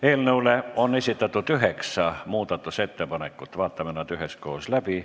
Eelnõu kohta on esitatud üheksa muudatusettepanekut, vaatame nad üheskoos läbi.